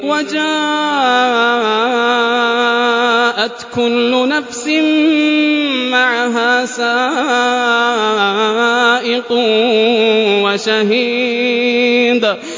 وَجَاءَتْ كُلُّ نَفْسٍ مَّعَهَا سَائِقٌ وَشَهِيدٌ